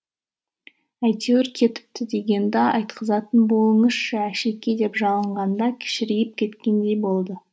әйтеуір кетіпті дегенді айтқызатын болыңызшы әшеке деп жалынғанда кішірейіп кеткендей болды